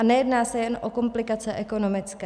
A nejedná se jen o komplikace ekonomické.